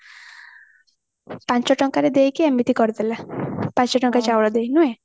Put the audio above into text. ପାଞ୍ଚ ଟଙ୍କାରେ ଦେଇକି ଏମିତି କରିଦେଲା ପାଞ୍ଚ ଟଙ୍କା ଚାଉଳ ଦେଇ ନୁହେଁ